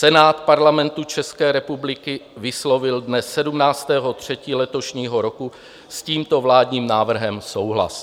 Senát Parlamentu České republiky vyslovil dne 17. 3. letošního roku s tímto vládním návrhem souhlas.